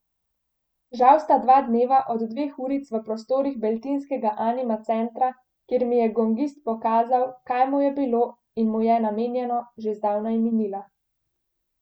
Žal sta dva dneva od dveh uric v prostorih beltinskega Anima centra, kjer mi je gongist prikazal, kaj mu je bilo in mu je namenjeno, že zdavnaj minila.